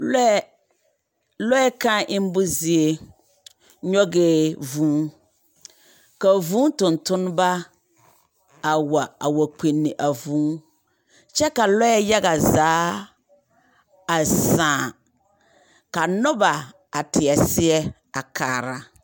Lɔɛ, lɔɛ kãã embo zie, nyɔgɛɛ vũũ, ka vũũ tontoneba, a wa a wa kpinni a vũũ. Kyɛ ka lɔɛ yaga zaa, a sãã, ka noba a teɛ seɛ a kaara.